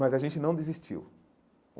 Mas a gente não desistiu.